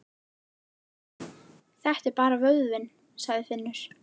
Þetta er bara vöðvinn, sagði Finnur.